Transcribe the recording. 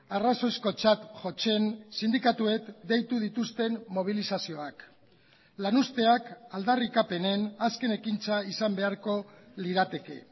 arrazoizkotzat jotzen sindikatuek deitu dituzten mobilizazioak lan usteak aldarrikapenen azken ekintza izan beharko lirateke